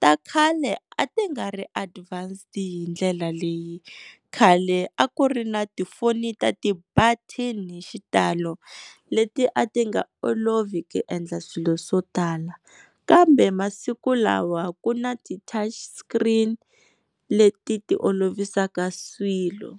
Ta khale a ti nga ri advanced hi ndlela leyi, khale a ku ri na tifoni ta ti-button-i hi xitalo leti a ti nga olovi ku endla swilo swo tala kambe masiku lawa ku na ti-touch screen leti ti olovisaka swilo.